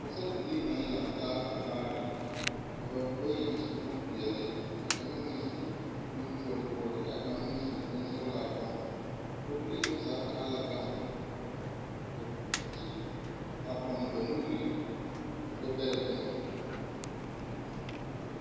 Pɔgɔsarbilii na laŋ taa banaare. Ka ba bayi a su bon piɛle. Ka kanga meŋ su bon kyolakyola kyɛ ka kanga meŋ su bon sɔglaa tɔma. pɔgɔbilii na zaa taa la gama a te te a ponne ba nuure ba gbɛ bɛrɛ eŋe